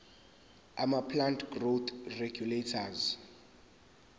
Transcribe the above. amaplant growth regulators